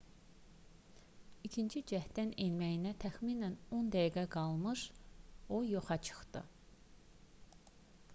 i̇kinci cəhddən enməyinə təxminən 10 dəqiqə qalmış o yoxa çıxdı